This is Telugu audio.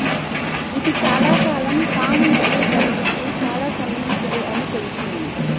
ఇది చాలాకాలం టామ్ మరియు బెనెడిక్ట్కు చాలా సన్నిహితులు అని తెలుస్తుంది